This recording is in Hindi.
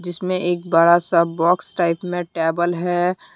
इसमें एक बड़ा सा बॉक्स टाइप में टेबल है।